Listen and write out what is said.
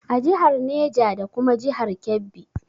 A jihar Neja da kuma jihar Kebbi